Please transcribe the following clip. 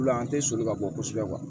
U la an tɛ sɔnli ka bɔ kosɛbɛ